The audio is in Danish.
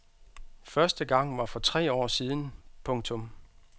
Første gang var for tre år siden. punktum